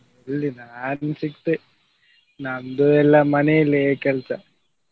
ಎಲ್ಲಿ ನಾನು ಸಿಕ್ತೆ ನಮ್ದು ಎಲ್ಲ ಮನೆಯಲ್ಲೇ ಕೆಲಸ.